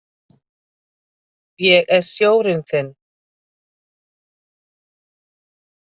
Ég er sjórinn þinn.